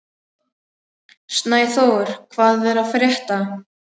Snæþór, hvað er að frétta?